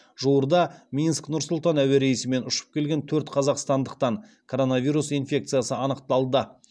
жуырда минск нұр сұлтан әуе рейсімен ұшып келген төрт қазақстандықтан коронавирус инфекция анықталды